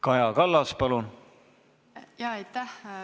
Kaja Kallas, palun!